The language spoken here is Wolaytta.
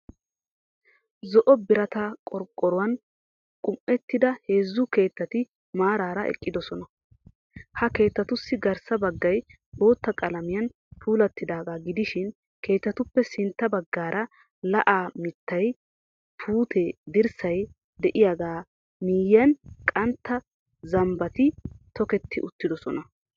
Zo'o birata qorqqoyuwan qum''ettida heezze keettati maaraara eqqidosina. Ha keettatussi garssa baggay bootta qalamiyan puulattidaagaa gidishin keettatuppe sintta baggaara lo'ya mitta puute dirssay de'iyagaa miyyiyan qantta zambbati toketti uttidosona.